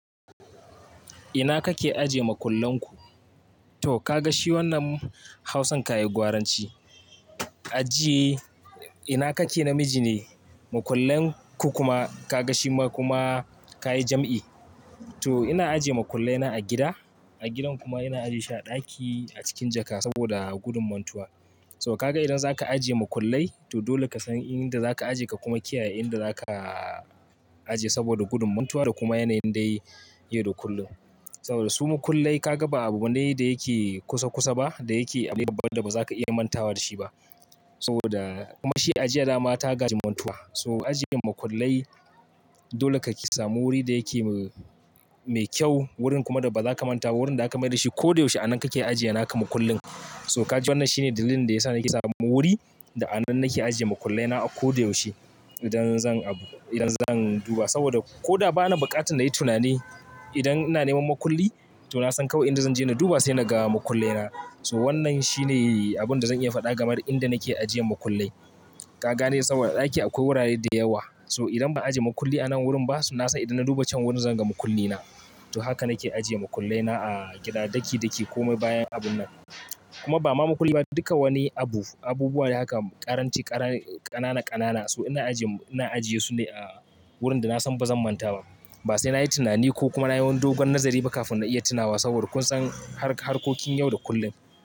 Ina kake aje makullan ku? To ka ga shi wannan hausan ka yayi gwaranci. Ajiye, ina kake namiji ne, makullan ku kuma ka ga shi kuma ka yi jam'i. To ina ajiye makullai na a gida, a gidan kuma ina ajiye shi a ɗaki a cikin jaka saboda gudun mantuwa. So ka ga idan zaka ajiye makullai, to dole ka san inda zaka ajiye ka kuma kiyaye inda zaka ajiye saboda gudun mantuwa da kuma yanayin dai yayi yau da kullum. Saboda su makullai ka ga ba abu ne da yake kusa kusa ba, da yake abu ne babba da ba za ka iya mantawa da shi ba. Saboda kuma shi ajiya dama ta gaji mantuwa. So ajiye makullai dole kake samu wuri da yake me kyau, wurin kuma da ba za ka manta ba, wurin da aka mayar da shi ko da yaushe a nan kake ajiye naka makullin. So ka ji wannan shine dalilin da yasa nake samu wuri da a nan nake ajiye makullai na a kodayaushe idan zan abu, idan zan duba. Saboda ko da ba na bukatar na yi tunani, idan ina neman makulli to na san kawai inda zan je na duba sai na ga makullai na. So wannan shine abun da zan iya faɗa game da inda nake ajiyan makullai. Ka gane saboda a ɗaki akwai wurare da yawa. So idan ba ajiye makulli a nan wurin ba, so na san idan na duba can wurin zan ga makulli na. To haka nake ajiye makullai na a gida, daki daki ko mai bayan abun nan. Kuma ba ma makulli ba, duka wani abu, abubuwa dai haka ƙaranci ƙanana ƙanana. So ina ajiye, ina ajiye su ne a wurin da na san ba zan manta ba. Ba sai na yi tunani ko kuma na yi wani dogon nazari ba kafin na iya tunawa saboda kun san harkokin yau da kullum.